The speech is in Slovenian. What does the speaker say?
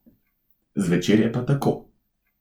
Zvečer je pa tako ...